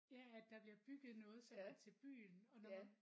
Ja at der bliver bygget noget sådan til byen og når man